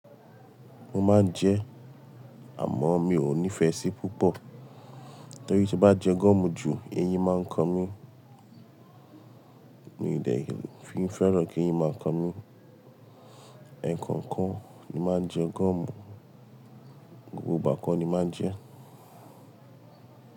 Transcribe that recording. Mo má ń jẹ àmọ̀ mi ò nífẹ̀sí púpọ̀ torí tí bá jẹ gum jù eyín má ń kàn mi ni ìdẹ̀ fi fẹ́ràn kí eyín má a ń kàn mi ẹ̀kankan ni má jẹ gum gbogbo ìgbà kọ́ni má jẹ.